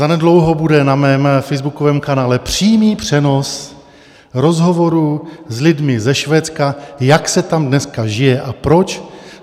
Zanedlouho bude na mém facebookovém kanále přímý přenos rozhovorů s lidmi ze Švédska, jak se tam dneska žije a proč.